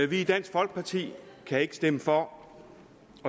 vi i dansk folkeparti kan ikke stemme for